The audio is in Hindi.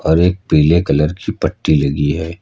और एक पीले कलर की पट्टी लगी है।